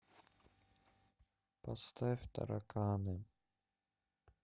поставь тараканы